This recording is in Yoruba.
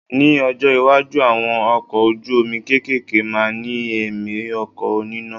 Ní ọjọ́ iwájú, àwọn ọkọ̀ ojú omi kéékèèké máa ní ẹ̀mí ọkọ̀ oníná.